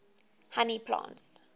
honey plants